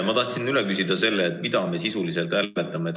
Ma tahtsin üle küsida, mida me sisuliselt hääletame?